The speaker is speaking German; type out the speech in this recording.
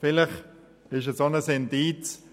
Vielleicht ist das auch ein Indiz dafür,